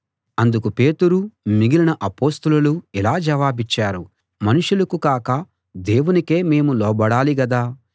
అందుకు పేతురు మిగిలిన అపొస్తలులు ఇలా జవాబిచ్చారు మనుషులకు కాక దేవునికే మేము లోబడాలి గదా